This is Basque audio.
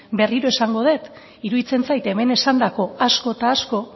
berriro esango dut iruditzen zait hemen esandako asko eta asko